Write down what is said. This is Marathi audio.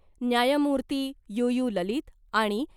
न्यायमूर्ती यू यू ललित आणि